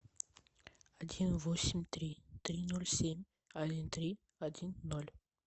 один восемь три три ноль семь один три один ноль